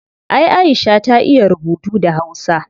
Ay aisha ta iya rubutu da hausa